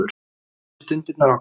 Mundu stundirnar okkar.